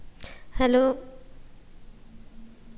hello